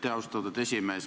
Aitäh, austatud esimees!